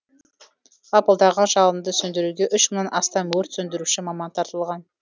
лапылдаған жалынды сөндіруге үш мыңнан астам өрт сөндіруші маман тартылған